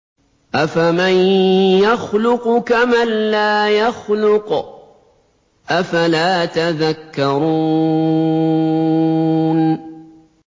أَفَمَن يَخْلُقُ كَمَن لَّا يَخْلُقُ ۗ أَفَلَا تَذَكَّرُونَ